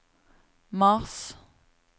mars